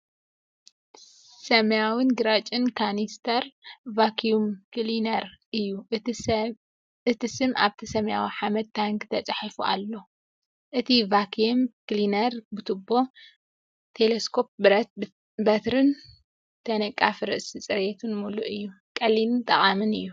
ሰማያውን ግራጭን ካኒስተር ቫክዩም ክሊነር እዩ። እቲ ስም ኣብቲ ሰማያዊ ሓመድ ታንኪ ተጻሒፉ ኣሎ። እቲ ቫክዩም ክሊነር ብቱቦ፣ ቴለስኮፒክ ብረት በትሪን ተነቃፊ ርእሲ ጽሬትን ምሉእ እዩ። ቀሊልን ጠቓምን እዩ።